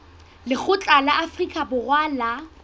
lekgotla la afrika borwa la